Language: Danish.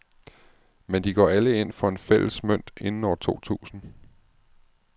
Men de går alle ind for en fælles mønt inden år to tusind.